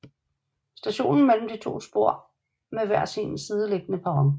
Stationen består af to spor med hver sin sideliggende perron